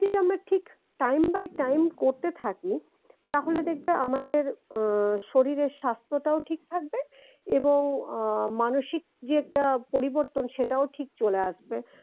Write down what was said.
আমরা ঠিক time by time করতে থাকি তাহলে দেখবে আমাদের আহ শরীরের স্বাথ্যটাও ঠিক থাকবে এবং আহ মানসিক যে একটা পরিবর্তন সেটাও ঠিক চলে আসবে